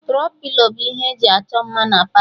Tro-pilo bụ ihe e ji achọ mma na Palọ